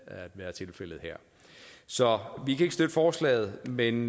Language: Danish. at være tilfældet her så vi kan ikke støtte forslaget men